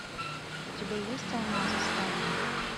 у тебя есть алмазы сталина